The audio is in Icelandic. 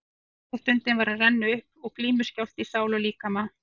Úrslitastundin var að renna upp og glímuskjálfti í sál og líkama.